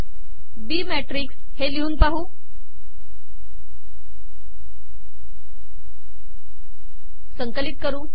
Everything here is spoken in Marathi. बी मॅिटकस िलहून पाहू